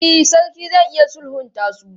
E, sarki zai iya sulhunta su.